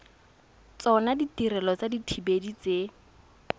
tsona ditirelo tsa dithibedi tse